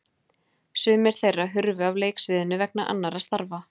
Sumir þeirra hurfu af leiksviðinu vegna annarra starfa.